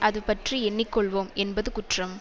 அது பற்றி எண்ணி கொள்வோம் என்பது குற்றம்